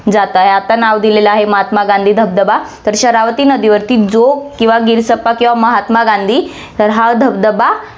जातं. आता नाव दिलेले आहे महात्मा गांधी धबधबा, तर शरावती नदीवरती जोग किंवा गिरसप्पा किंवा महात्मा गांधी तर हा धबधबा